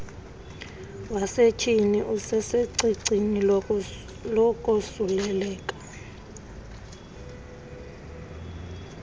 wasetyhini usecicini lokosuleleka